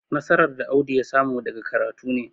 nasarar da Audu ya samu daga karatu ne.